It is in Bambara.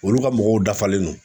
Olu ka mɔgɔw dafalen don.